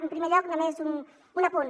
en primer lloc només un apunt